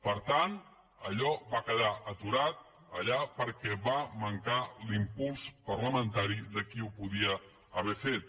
per tant allò va quedar aturat allà perquè va mancar l’impuls parlamentari de qui ho podia haver fet